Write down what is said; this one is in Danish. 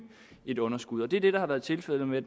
et underskud og det er det der har været tilfældet med